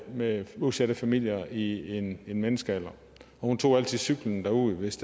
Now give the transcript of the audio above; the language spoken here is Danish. med udsatte familier i en menneskealder og hun tog altid cyklen derud hvis